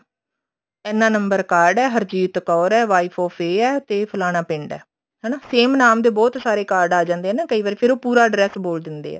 ਇੰਨਾ number card ਹੈ ਹਰਜੀਤ ਕੌਰ ਹੈ wife of ਇਹ ਹੈ ਤੇ ਫਲਾਨਾ ਪਿੰਡ ਹੈ ਹਨਾ same ਨਾਮ ਦੇ ਬਹੁਤ ਸਾਰੇ card ਆ ਜਾਂਦੇ ਆ ਨਾ ਕਈ ਵਾਰ ਫੇਰ ਉਹ ਪੂਰਾ address ਬੋਲ ਦਿੰਦੇ ਆ